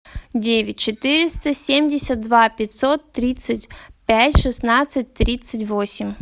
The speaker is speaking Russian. девять четыреста семьдесят два пятьсот тридцать пять шестнадцать тридцать восемь